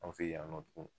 An fɛ yen nɔ tuguni